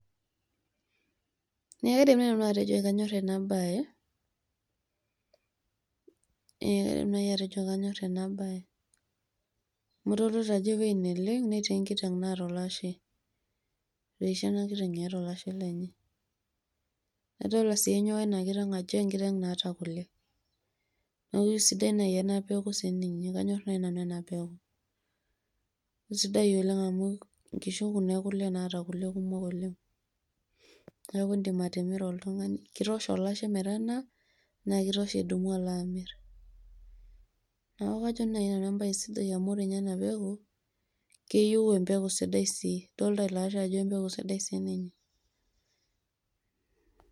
ee kaidim naaji nanu atejo kanyor ena bae amu idolita ajo ewueji neleng' netii enkiteng' naata olashe. etoishe ena kiteng eeta olashe lenye, adoolta sii enyewa ena kiteng ajo kisapuk keeta kule. neeku isidai naji ena peku sii ninye, kanyor naai nanu ena peku. isidai oleng amu, nkishu kuna ekule naa keeta kule oleng. naa idim atimira oltungani. kitosha olashe metanaa, naa kitosha idumu alo amir. neeku kajo naai nanu ebae sidai amu ore ninye ena peku keiu empeku sidai sii.